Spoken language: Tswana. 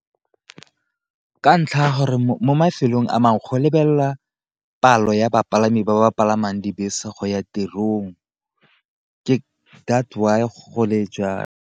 Ka ntlha ya gore mo mafelong a mangwe go lebelela palo ya bapalami ba ba palamang dibese go ya tirong that's why gole jwalo.